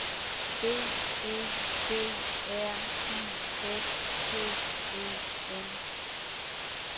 B E D R I F T E N